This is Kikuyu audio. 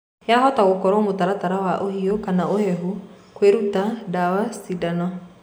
Yahota gũkorwo mũtaratara wa ũhiu kana ũhehu, kũĩruta, ndawa, cindano